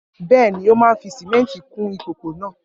Bẹ́ẹ̀ ni, ó máa fi sìmẹ́ńtì kún ìpòpọ̀ náà.